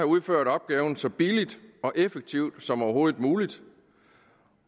udført opgaven så billigt og effektivt som overhovedet muligt